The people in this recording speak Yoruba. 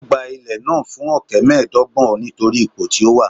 Ó gba ilẹ̀ náà fún ọ̀kẹ́ mẹ́ẹ̀ẹ́dọ́gbọ̀n nítorí ipò tí ó wà